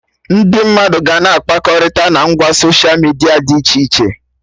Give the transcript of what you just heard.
Ndị mmadụ ga-na akpakọrịta na ngwa soshia midia dị iche iche